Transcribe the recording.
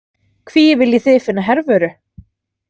Hví viljið þið finna Hervöru?